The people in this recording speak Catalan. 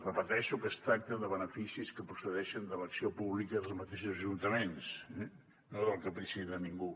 repeteixo que es tracta de beneficis que procedeixen de l’acció pública dels mateixos ajuntaments no del caprici de ningú